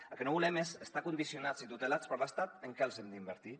el que no volem és estar condicionats i tutelats per l’estat en què els hem d’invertir